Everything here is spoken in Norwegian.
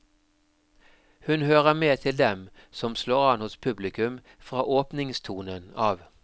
Hun hører med til dem som slår an hos publikum fra åpningstonen av.